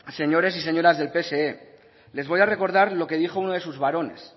señores y señoras del pse les voy a recordar lo que dijo uno de sus barones